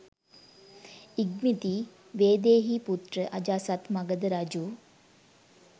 ඉක්බිති වේදේහීපුත්‍ර අජාසත් මගධ රජු